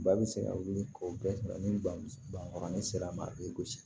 Ba bɛ se ka wuli k'o bɛɛ sɔrɔ ni bankɔrɔnin sera mali gosi